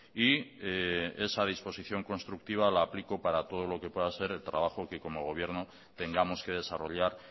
y esa disposición constructiva la aplico para todo lo que pueda ser el trabajo que como gobierno tengamos que desarrollar